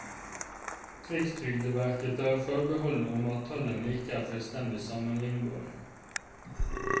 Rikstrygdeverket tar forbehold om at tallene ikke er fullstendig sammenlignbare.